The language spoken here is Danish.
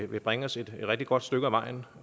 vil bringe os et rigtig godt stykke ad vejen